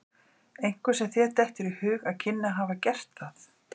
Einhver sem þér dettur í hug að kynni að hafa gert það?